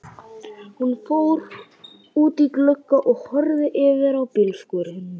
Hún fór út í glugga og horfði yfir á bílskúrinn.